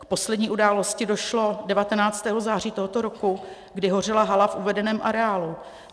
K poslední události došlo 19. září tohoto roku, kdy hořela hala v uvedeném areálu.